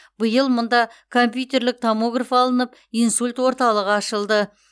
биыл мұнда компьютерлік томограф алынып инсульт орталығы ашылды